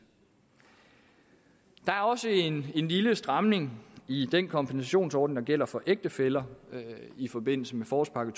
der er også en lille stramning i den kombinationsordning der gælder for ægtefæller i forbindelse med forårspakke